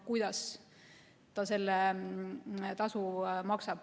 Iga liikmesriik peab ise otsustama, kuidas ta selle tasu maksab.